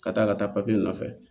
Ka taa ka taa papiye nɔfɛ